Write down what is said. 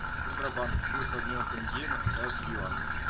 центробанк курс обмена тенге на китайский юань